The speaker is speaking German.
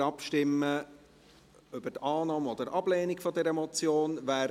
Wir stimmen zuerst über Annahme oder Ablehnung dieser Motion ab.